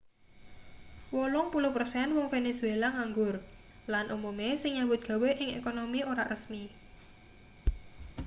wolung puluh persen wong venezuela nganggur lan umume sing nyambut gawe ing ekonomi ora resmi